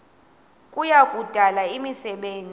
kuya kudala imisebenzi